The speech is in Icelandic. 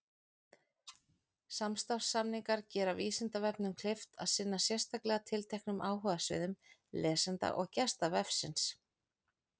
Samstarfssamningar gera Vísindavefnum kleift að sinna sérstaklega tilteknum áhugasviðum lesenda og gesta vefsins.